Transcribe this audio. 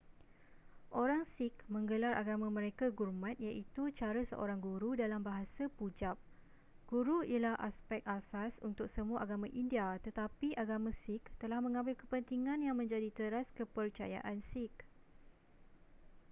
orang sikh menggelar agama mereka gurmat iaitu cara seorang guru dalam bahasa pujab guru ialah aspek asas untuk semua agama india tetapi agama sikh telah mengambil kepentingan yang menjadi teras kepercayaan sikh